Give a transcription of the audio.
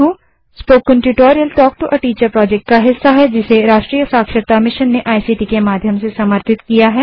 spoken tutorial talk to a teacher project का हिस्सा है जिसे राष्ट्रीय साक्षरता मिशन ने इक्ट के माध्यम से समर्थित किया है